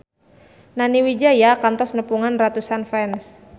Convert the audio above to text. Nani Wijaya kantos nepungan ratusan fans